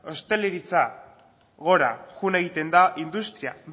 ostalaritza gora joan egiten da industria